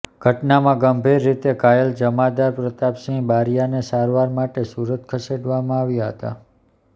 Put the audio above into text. ઘટનામાં ગંભીર રીતે ઘાયલ જમાદાર પ્રભાતસિંહ બારૈયાને સારવાર માટે સુરત ખસેડવામાં આવ્યા હતા